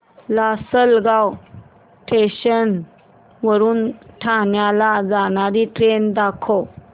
Lasalgaon station वरून ठाण्याला जाणारी ट्रेन दाखव